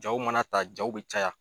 Jaaw mana ta jaaw bɛ caya.